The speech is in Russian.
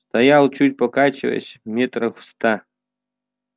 стоял чуть покачиваясь метрах в ста